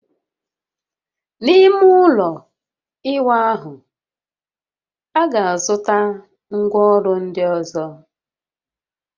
N'ime ụlọ ịwa ahụ, a ga-azụta ngwaọrụ ndị ọzọ